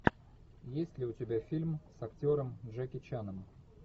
есть ли у тебя фильм с актером джеки чаном